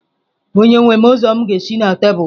Onyenwe m ụzọ m ga-esi na tebụl gị?